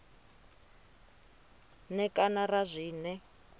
n e kana ra zwine